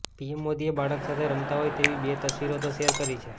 PM મોદીએ બાળક સાથે રમતા હોય તેવી બે તસવીરો તો શેર કરી છે